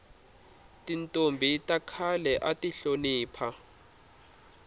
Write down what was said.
tintombhi ta khale ati hlonipha